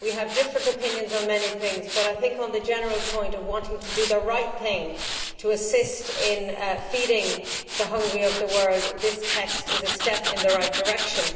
We have different opinions on many things, but I think, on the general point of wanting to do the right thing to assist in feeding the hungry of the world, this text is a step in the right direction.